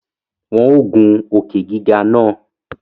Wọn o gun òkè-gígà náà